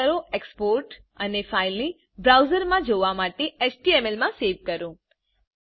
પસંદ કરો એક્સપોર્ટ અને ફાઈલ ને બ્રાઉજર માં જોવા માટે એચટીએમએલ મા સવે કરો